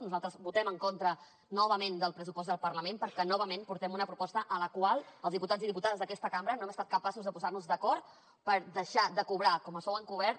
nosaltres votem en contra novament del pressupost del parlament perquè novament portem una proposta en la qual els diputats i diputades d’aquesta cambra no hem estat capaços de posar nos d’acord per deixar de cobrar com a sou encobert